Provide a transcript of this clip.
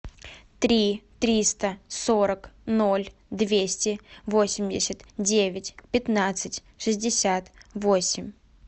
три триста сорок ноль двести восемьдесят девять пятнадцать шестьдесят восемь